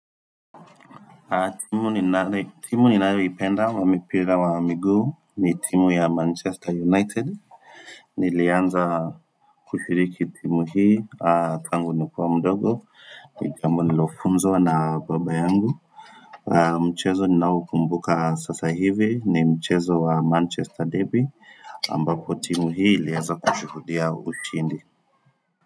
Timu ni nayoipenda wa mipira wa miguu ni timu ya Manchester United. Nilianza kushiriki timu hii, tangu nikiwa mdogo, ni jambo nililofunzwa na baba yangu. Mchezo ninaoukumbuka sasa hivi ni mchezo wa Manchester derby ambapo timu hii ilieza kushuhudia ushindi.